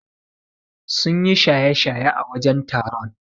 Sun yi shaye-shaye a wurin taron.